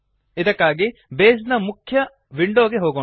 ಇದಕ್ಕಾಗಿ ಬೇಸ್ ನ ಮುಖ್ಯ ವಿಂಡೋ ಗೆ ಹೋಗೋಣ